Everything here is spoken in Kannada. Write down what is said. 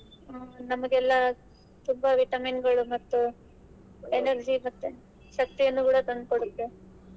ಹ್ಮ್‌ ನಮಗೆಲ್ಲ ತುಂಬಾ ವಿಟಮಿನ್ಗಳು ಮತ್ತು energy ಶಕ್ತಿಯನ್ನು ಕೂಡ ತಂದಕೊಡುತ್ತೆ.